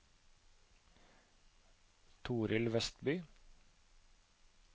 Torild Westby